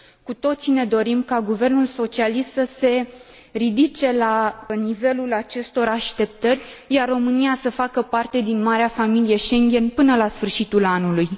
Cu toții ne dorim ca guvernul socialist să se ridice la nivelul acestor așteptări, iar România să facă parte din marea familie Schengen până la sfârșitul anului.